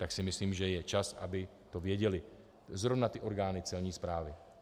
Tak si myslím, že je čas, aby to věděly zrovna ty orgány celní správy.